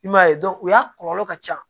I m'a ye u y'a kɔlɔlɔ ka ca